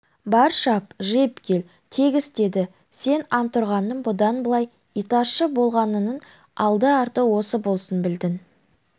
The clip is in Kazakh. бар шап жиып кел тегіс деді сен антұрғанның бұдан былай итаршы болғаныңның алды-арты осы болсын білдің